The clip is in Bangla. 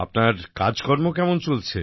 আপনার কাজকর্ম কেমন চলছে